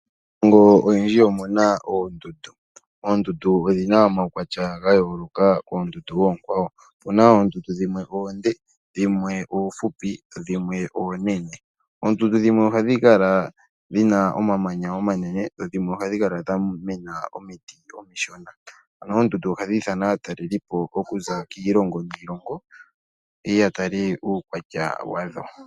Miilongo oyindji omu na oondundu. Oondundu odhi na omaukwatya gayooloka koondundu oonkwawo. Oondundu dhimwe oonde, dhimwe oofupi, noonkwawo oonene, dho oondundu dhimwe oha dhi kala dhi na omamanya omanene nadhimwe odha mena omiti omishona. Oondundu oha dhi nana aatalelipo oku za kiilongo niilongo ye ye ya tale uukwatya wadho.